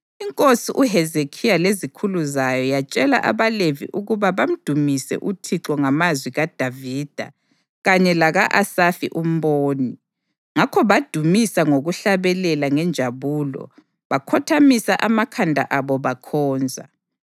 Inkosi uHezekhiya lezikhulu zayo yatshela abaLevi ukuba badumise uThixo ngamazwi kaDavida kanye laka-Asafi umboni. Ngakho badumisa ngokuhlabelela ngenjabulo bakhothamisa amakhanda abo bakhonza.